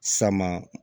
Sama